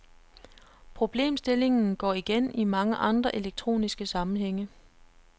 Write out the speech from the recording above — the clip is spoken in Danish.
Problemstillingen går igen i mange andre elektroniske sammenhænge.